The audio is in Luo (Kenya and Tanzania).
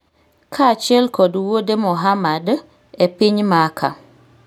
kaachiel kod wuode Mohammad, e piny Maka